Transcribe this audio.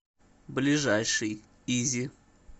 ближайший изи